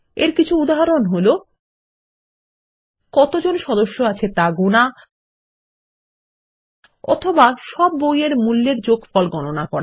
এর কিছু উদাহরণ হল কতজন সদস্য আছে তা গোনা অথবা সব বই এর মূল্যের যোগফল গণনা করা